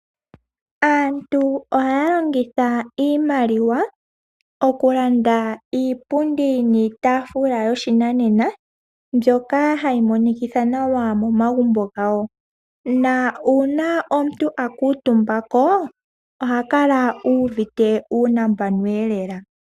Aantu ohaya longitha iimaliwa okulanda iipundi niitaafula yoshinanena mbyoka hayi monikitha nawa momagumbo gawo. Nuuna omuntu a kuutumba ko oha kala uuvite uunambano lela.